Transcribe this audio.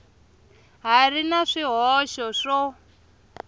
ha ri na swihoxo swo